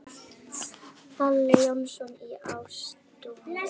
Páll Jónsson í Ástúni